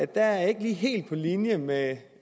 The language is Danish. der er jeg ikke lige helt på linje med